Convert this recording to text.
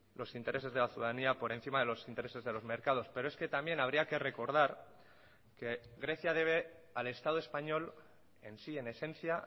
los intereses de la ciudadanía por encima de los intereses de los mercados pero es que también habría que recordar que grecia debe al estado español en sí en esencia